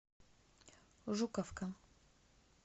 жуковка